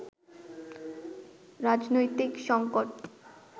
রাজনৈতিক সঙ্কট